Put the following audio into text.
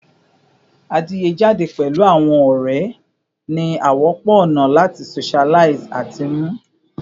Adiye jade pẹlu awọn ọrẹ ni a wọpọ ona lati socialize ati mnu